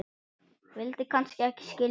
vildi kannski ekki skilja